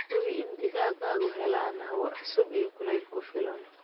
Hubi in digaagadu helaan hawo cusub iyo kulayl ku filan.